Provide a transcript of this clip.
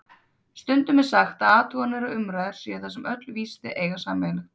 Stundum er sagt að athuganir og umræður séu það sem öll vísindi eiga sameiginlegt.